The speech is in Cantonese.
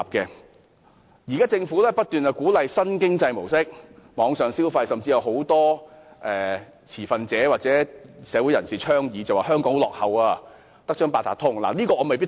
雖然現時政府不斷鼓勵新經濟模式和網上消費，但很多持份者或社會人士說香港在這方面很落後，只有八達通，對此我未必贊同。